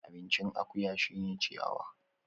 Abincin akuya shine ciyawa